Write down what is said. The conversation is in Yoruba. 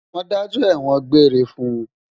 Wọ́n dájọ́ ẹ̀wọ̀n-òn gbére fún un